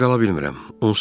Burada qala bilmirəm.